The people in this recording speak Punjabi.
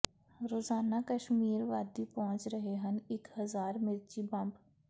ਰੋਜ਼ਾਨਾ ਕਸ਼ਮੀਰ ਵਾਦੀ ਪਹੁੰਚ ਰਹੇ ਹਨ ਇਕ ਹਜ਼ਾਰ ਮਿਰਚੀ ਬੰਬ